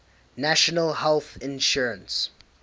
national health insurance